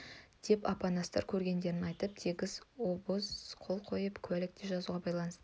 деп апанастар көргендерін айтып тегіс обоз қол қойып куәлік те жазуға байласты